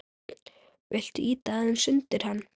Viltu ýta aðeins undir hana?